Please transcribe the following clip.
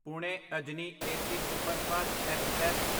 Pune Ajni AC superfast express